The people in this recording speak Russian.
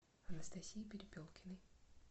анастасии перепелкиной